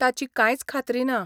ताची कांयच खात्री ना.